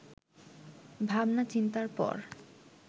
ভাবনা-চিন্তার পর